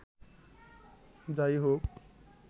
যা-ই হোক